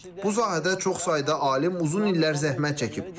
Bu sahədə çox sayda alim uzun illər zəhmət çəkib.